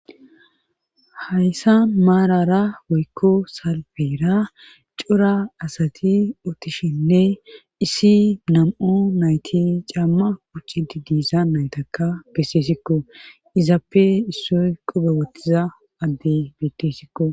Hayssan marara woykko salfera cora asati utishenne issi nam'u nayti caama quccidde diyayssa ha nayta beseeskko . Izappe issoy qoobe wotida adde beetees.